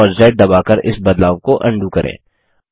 CTRL और Z दबाकर इस बदलाव को अन्डू करें